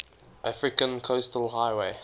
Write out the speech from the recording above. african coastal highway